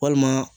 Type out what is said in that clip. Walima